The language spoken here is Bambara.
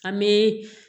An bɛ